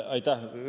Aitäh!